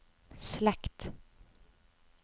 slekt